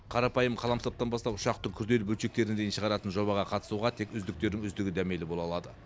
қарапайым қаламсаптан бастап ұшақтың күрделі бөлшектеріне дейін шығаратын жобаға қатысуға тек үздіктердің үздігі дәмелі бола алады